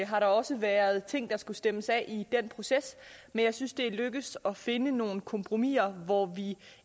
har der også været ting der skulle stemmes af i den proces men jeg synes det er lykkedes at finde nogle kompromiser hvor vi